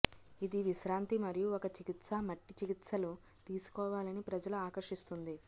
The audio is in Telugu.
ఇది విశ్రాంతి మరియు ఒక చికిత్సా మట్టి చికిత్సలు తీసుకోవాలని ప్రజలు ఆకర్షిస్తుంది